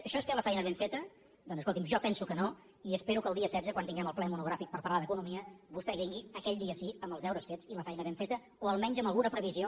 això és fer la feina ben feta doncs escolti’m jo pen·so que no i espero que el dia setze quan tinguem el ple monogràfic per parlar d’economia vostè vingui aquell dia sí amb els deures fets i la feina ben feta o almenys amb alguna previsió